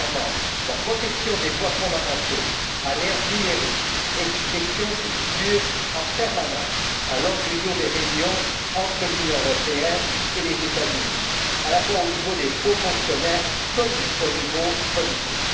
Premièrement, la protection des droits fondamentaux à l'ère numérique est une question qui figure en permanence à l'ordre du jour des réunions entre l'Union européenne et les États Unis, au niveau des hauts fonctionnaires comme au niveau politique.